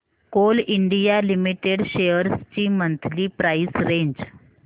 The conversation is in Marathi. कोल इंडिया लिमिटेड शेअर्स ची मंथली प्राइस रेंज